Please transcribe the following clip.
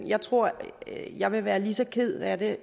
jeg tror at jeg ville være lige så ked af det